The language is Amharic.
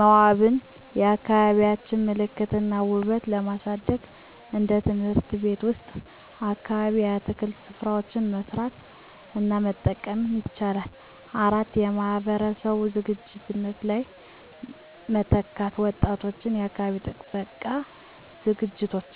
መዋበን የአካባቢዎቻቸውን ምልክት እና ውበት ለማሳደግ እንደ ትምህርት ቤት ወይም አካባቢ የአትክልት ሥራዎችን መስራት እና መጠበቅ ይችላሉ። 4. የማህበረሰብ ዝግጅቶች ላይ መተካት ወጣቶች የአካባቢ ጥበቃ ዝግጅቶች